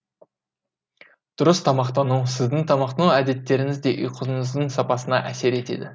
дұрыс тамақтану сіздің тамақтану әдеттеріңіз де ұйқыңыздың сапасына әсер етеді